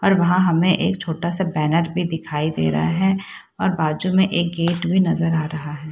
और वहाँ हमे एक छोटा सा बैनर भी दिखाई रहा है और बाजू में एक गेट भी नजर आ रहा हैं।